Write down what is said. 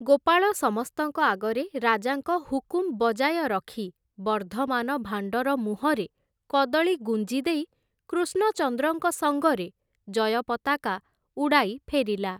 ଗୋପାଳ ସମସ୍ତଙ୍କ ଆଗରେ ରାଜାଙ୍କ ହୁକୁମ୍ ବଜାୟ ରଖି ବର୍ଦ୍ଧମାନ ଭାଣ୍ଡର ମୁହଁରେ କଦଳୀ ଗୁଞ୍ଜି ଦେଇ କୃଷ୍ଣଚନ୍ଦ୍ରଙ୍କ ସଙ୍ଗରେ ଜୟ ପତାକା ଉଡ଼ାଇ ଫେରିଲା ।